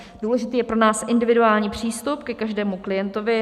Důležitý je pro nás individuální přístup ke každému klientovi.